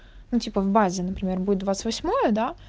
ну типа в базе например будет двадцать восьмое да